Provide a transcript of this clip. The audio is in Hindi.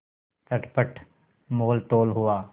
चटपट मोलतोल हुआ